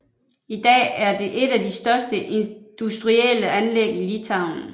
I dag er det et af de største industrielle anlæg i Litauen